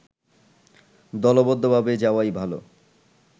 দলবদ্ধভাবে যাওয়াই ভালো